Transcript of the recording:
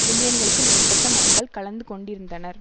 மில்லியனுக்கு மேற்பட்ட மக்கள் கலந்துகொண்டிருந்தனர்